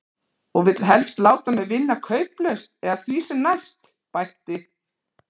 Og vill helst láta mig vinna kauplaust eða því sem næst, bætti